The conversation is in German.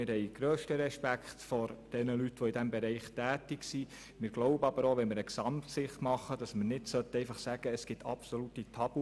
Wir haben grössten Respekt vor denjenigen Personen, die in diesem Bereich tätig sind, aber wir glauben auch, dass wir aufgrund einer Gesamtsicht keine absoluten Tabubereiche ausschliessen sollten.